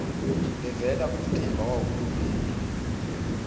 levela kumtimba wahulumende